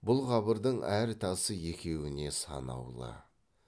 бұл қабырдың әр тасы екеуіне санаулы